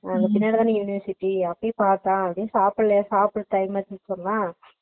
university அதுபோய் பாத்தோம் எதும் சாப்பிடல, சாப்ட்டு time adjust பண்ணிரலாம்